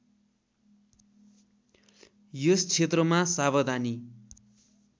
यस क्षेत्रमा सावधानी